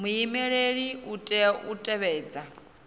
muhumbeli u tea u tevhedza